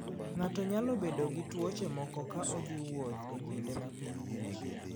Ng'ato nyalo bedo gi tuoche moko ka odhi e wuoth e kinde ma piny ng'ich.